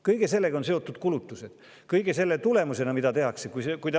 Kõigega, mida tehakse, kaasnevad kulutused.